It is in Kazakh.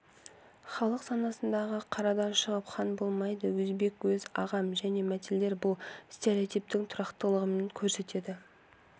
халық санасындағы қарадан шығып хан болмайды өзбек өз ағам және мәтелдер бұл стереотиптің тұрақтылығын көрсетеді